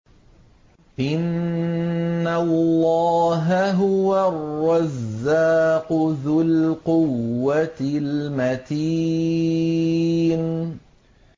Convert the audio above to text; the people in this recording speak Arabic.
إِنَّ اللَّهَ هُوَ الرَّزَّاقُ ذُو الْقُوَّةِ الْمَتِينُ